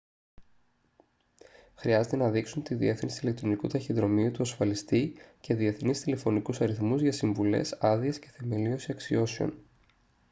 χρειάζεται να δείξουν τη διεύθυνση ηλεκτρονικού ταχυδρομείου του ασφαλιστή και διεθνείς τηλεφωνικούς αριθμούς για συμβουλές/άδειες και θεμελίωση αξιώσεων